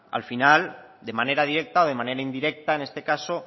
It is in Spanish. al final de manera directa o de manera indirecta en este caso